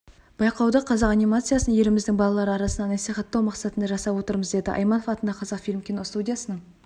байқауды қазақ анимациясын еліміздің балалары арасында насихаттау мақсатында жасап отырмыз деді айманов атындағы қазақфильм киностудиясының